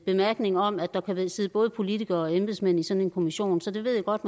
bemærkninger om at der kan sidde både politikere og embedsmænd i sådan en kommission så det ved jeg godt